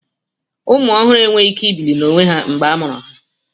Ụmụ ọhụrụ enweghị ike ibili n'onwe ha mgbe a mụrụ ha.